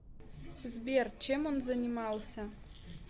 сбер чем он занимался